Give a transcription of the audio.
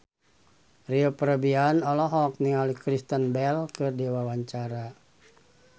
Rio Febrian olohok ningali Kristen Bell keur diwawancara